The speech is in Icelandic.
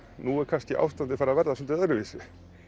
nú er kannski ástandið farið að verða svolítið öðruvísi